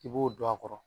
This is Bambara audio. I b'o don a kɔrɔ